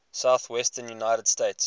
southwestern united states